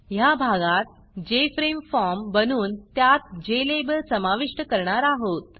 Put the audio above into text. ह्या भागात जेएफआरएमई formजेफ्रेम फॉर्म बनवून त्यात Jlabelजेलेबल समाविष्ट करणार आहोत